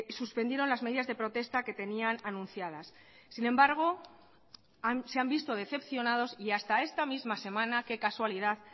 suspendieron las medidas de protesta que tenían anunciadas sin embargo se han visto decepcionados y hasta esta misma semana qué casualidad